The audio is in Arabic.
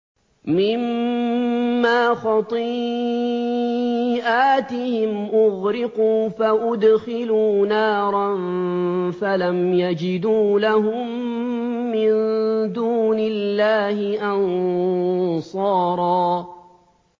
مِّمَّا خَطِيئَاتِهِمْ أُغْرِقُوا فَأُدْخِلُوا نَارًا فَلَمْ يَجِدُوا لَهُم مِّن دُونِ اللَّهِ أَنصَارًا